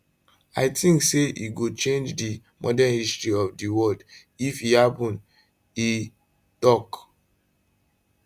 i tink say e go change di modern history of di world if e happun e tok